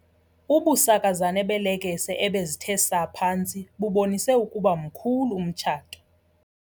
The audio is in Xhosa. Ubusakazane beelekese ebezithe saa phantsi bubonise ukuba mkhulu umtshato.